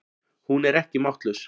Hún er ekki máttlaus.